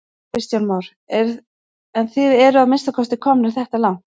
Kristján Már: En þið eruð að minnsta kosti komnir þetta langt?